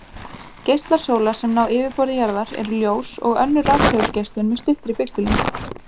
Geislar sólar sem ná yfirborði jarðar eru ljós og önnur rafsegulgeislun með stuttri bylgjulengd.